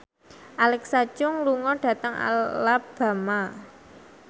Alexa Chung lunga dhateng Alabama